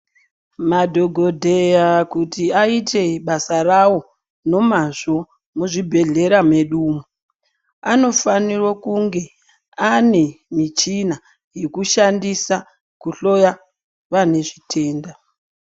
Madhokodheya kuti vaite basa ravo nomazvo muzvibhedhlera medu umu anofanira kunge ange mishina yakushandisa kuhloya vanezvitenda.